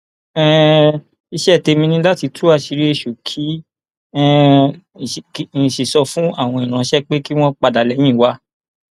um iṣẹ tèmi ni láti tú àṣírí èṣù kí um n sì sọ fáwọn ìránṣẹ ẹ pé kí wọn padà lẹyìn wa